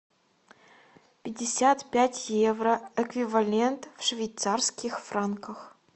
пятьдесят пять евро эквивалент в швейцарских франках